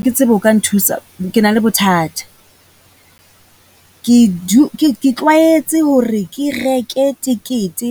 Ha ke tsebe o ka nthusa? Ke na le bothata, ke ke, ke tlwaetse hore ke reke tekete